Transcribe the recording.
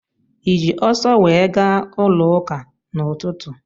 Ị ji ọso wee gaa ụlọụka n'ụtụtụ?